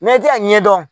i tɛ a ɲɛ dɔn